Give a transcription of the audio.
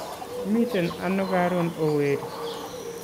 Imiten ano karun ooh weri